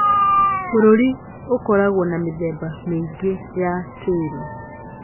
Bũrũri - ũkoragwo na mĩthemba mĩingĩ ya tĩĩri